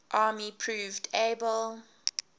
army proved able